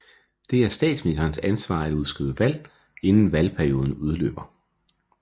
Det er statsministerens ansvar at udskrive valg inden valgperioden udløber